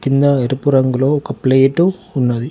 కింద ఎరుపు రంగులో ఒక ప్లేటు ఉన్నది.